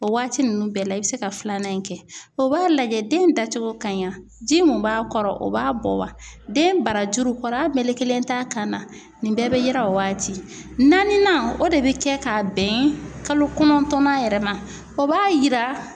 O waati ninnu bɛɛ la i bɛ se ka filanan in kɛ, o b'a lajɛ den da cogo ka ɲ wa, ji min b'a kɔrɔ o b'a bɔ wa? Den barajuru kɔri a mekelen t'a kan na ,nin bɛɛ bɛ yira o waati .Naaninan ,o de bɛ kɛ ka bɛn kalo kɔnɔntɔnnan yɛrɛ ma ,o b'a yira